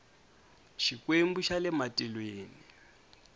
xikwembu xa le matilweni